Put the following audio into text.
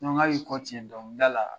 hali i kɔ dɔnkilida la